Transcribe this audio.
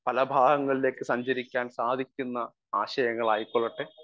speaker 1 പല ഭാഗങ്ങളിലേക്ക് സഞ്ചരിക്കാൻ സാധിക്കുന്ന ആശയങ്ങളായിക്കൊള്ളട്ടെ